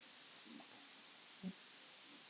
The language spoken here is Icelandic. Hún komst í blöðin.